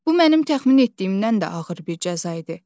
Bu mənim təxmin etdiyimdən də ağır bir cəza idi.